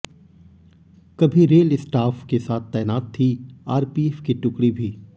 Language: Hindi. कभी रेल स्टाॅफ के साथ तैनात थी आरपीएफ की टुकड़ी भी